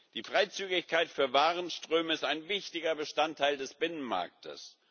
Die Freizügigkeit für Warenströme ist ein wichtiger Bestandteil des Binnenmarktes.